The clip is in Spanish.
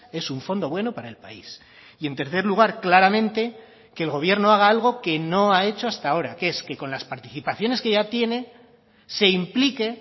es un fondo bueno para el país y en tercer lugar claramente que el gobierno haga algo que no ha hecho hasta ahora que es que con las participaciones que ya tiene se implique